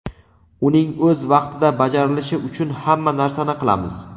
Uning o‘z vaqtida bajarilishi uchun hamma narsani qilamiz.